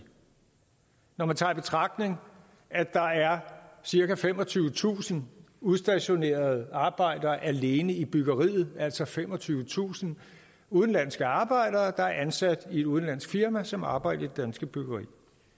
når man tager i betragtning at der er cirka femogtyvetusind udstationerede arbejdere alene i byggeriet altså femogtyvetusind udenlandske arbejdere der er ansat i et udenlandsk firma som arbejder i det danske byggeri